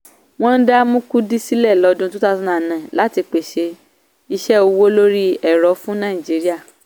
wọ́n dá mkudi sílẹ̀ lọ́dún two thousand and nine láti pèsè iṣẹ́ owó lórí ẹ̀rọ fún naijiría.